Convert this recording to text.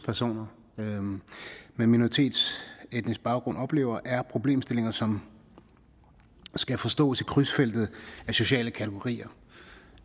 personer med minoritetsetnisk baggrund oplever er problemstillingen som skal forstås i krydsfeltet af sociale kategorier